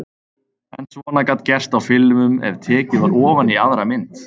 En svona gat gerst á filmum ef tekið var ofan í aðra mynd.